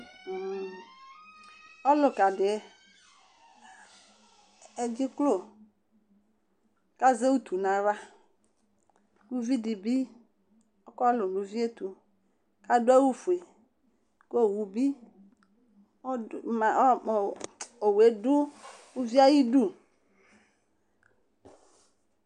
ɔluka di adziklo kazutu nayla kuvi dibi ɔkɔlũ nuvie tu kadu awu fué kowũ bi ɔdu ma ɔ ɔ owué du uvié ayi dũ